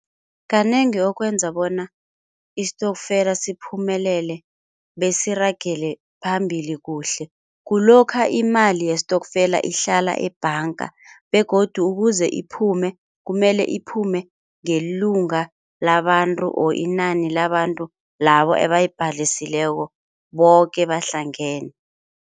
Kanengi okwenza bona istokfela siphumelele besiragele phambili kuhle kulokha imali yestokfela ihlala ebhanka begodu ukuze iphume kumele iphume ngelunga labantu or inani labantu labo ebayibhalisileko boke bahlangene.